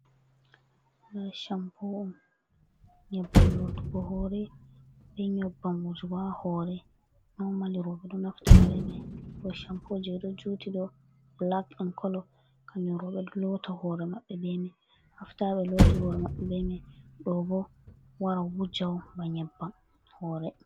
Ɗo shampo nyebbam lotugo hore be nyebbam wujugo ha hore nomali roɓe do naftirta be mai do shampoje ɗo juti do blak in kolo kanyoro be lota hore maɓɓe bemai afta lotti hore be mai ɗo bo wara wuja on ba nyebbam hore.